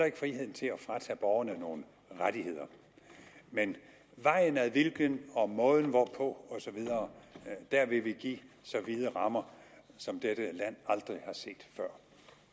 ikke friheden til at fratage borgerne nogle rettigheder men vejen ad hvilken og måden hvorpå osv der vil vi give så vide rammer som dette land aldrig har set før